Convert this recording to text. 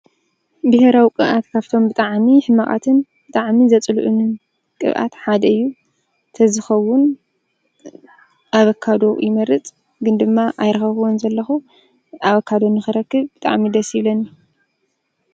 ብሄራዊ ቅብኣት ካፍቶም ብጣዕሚ ሕማቃትን ብጣዕሚ ዘፅልኡንን ቅብኣት ሓደ እዩ። ተዝኸዉን አቨካዶ ይመርፅ። ግን ድማ አይረኸብኩዎን ዘለኩ። አቨካዶ ንክረክብ ብጣዕሚ ደስ ይብለኒ።